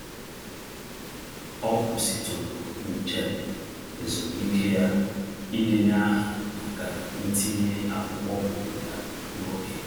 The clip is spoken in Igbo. Ọ kwụsịtụrụ njem ezumiike ya idenye aha maka ntinye akwụkwọ obodo ya n'oge.